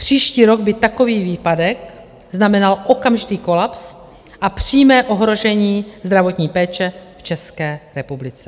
Příští rok by takový výpadek znamenal okamžitý kolaps a přímé ohrožení zdravotní péče v České republice.